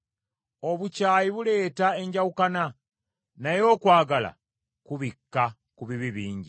Obukyayi buleeta enjawukana, naye okwagala kubikka ku bibi bingi.